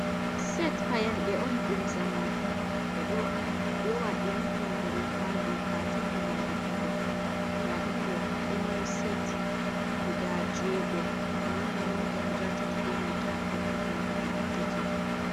Set payanɗe on ɗum zamanu, ɓeɗo lowa irin payanɗe ɗo ha katine ngam defugo. nda ɗum ɗo mari set guda jego, manga manga guda tati benanta perpeton guda tati.